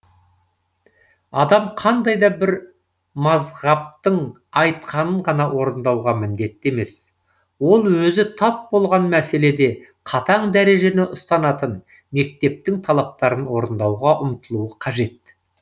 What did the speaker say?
адам қандай да бір мазһабтың айтқанын ғана орындауға міндетті емес ол өзі тап болған мәселеде қатаң дәрежені ұстанатын мектептің талаптарын орындауға ұмтылуы қажет